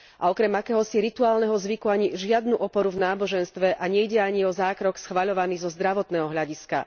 A okrem akéhosi rituálneho zvyku, ani žiadnu oporu v náboženstve a nejde ani o zákrok schvaľovaný zo zdravotného hľadiska.